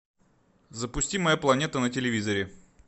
запусти моя планета на телевизоре